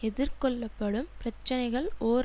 எதிர்கொள்ளப்படும் பிரச்சனைகள் ஓர்